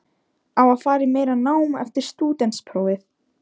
Á að fara í meira nám eftir stúdentsprófið?